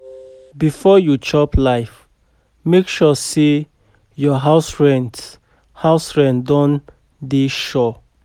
Before you chop life, make sure say your house rent house rent don dey sure.